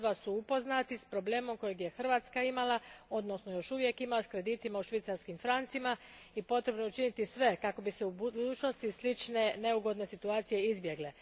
Neki od vas su upoznati s problemom kojeg je Hrvatska imala, odnosno još uvijek ima, s kreditima u švicarskim francima i potrebno je učiniti sve kako bi se u budućnosti slične neugodne situacije izbjegle.